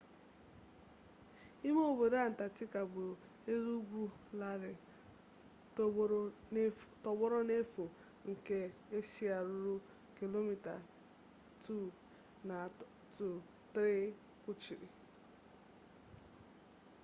ime obodo antarctica bụ elu ugwu larịị tọgbọrọ n'efu nke aịs ruru kilomita 2-3 kpuchiri